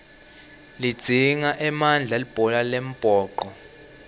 lidzinga emandla libhola lembhoco